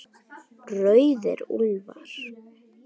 Rauðir úlfar